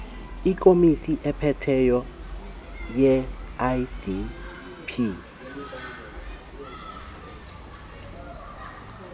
ikomiti ephetheyo yeidp